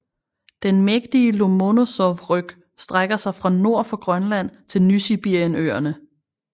Den mægtige Lomonosovryg strækker sig fra nord for Grønland til Nysibirienøerne